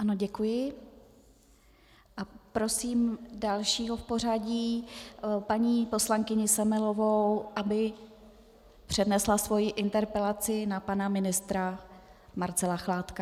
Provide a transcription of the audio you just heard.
Ano děkuji a prosím dalšího v pořadí, paní poslankyni Semelovou, aby přednesla svoji interpelaci na pana ministra Marcela Chládka.